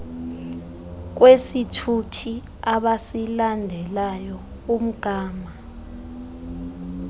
kwesithuthi abasilandelayo umgama